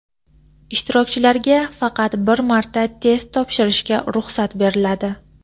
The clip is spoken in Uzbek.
Ishtirokchilarga faqat bir marta test topshirishga ruxsat beriladi.